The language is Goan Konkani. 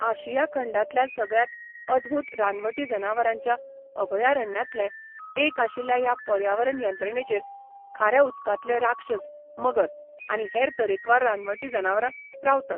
आशिया खंडांतल्या सगळ्यांत अदभूत रानवटी जनावरांच्या अभयारण्यांतलें एक आशिल्ल्या ह्या पर्यावरण यंत्रणेचेर खाऱ्या उदकांतले राक्षस मगर आनी हेर तरेकवार रानवटी जनावरां रावतात.